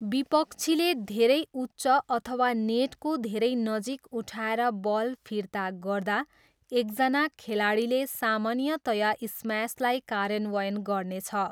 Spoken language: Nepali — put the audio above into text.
विपक्षीले धेरै उच्च अथवा नेटको धेरै नजिक उठाएर बल फिर्ता गर्दा एकजना खेलाडीले सामान्यतया स्म्यासलाई कार्यान्वयन गर्नेछ।